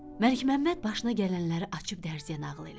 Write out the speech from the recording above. Məlikməmməd başına gələnləri açıb dərziyə nağıl elədi.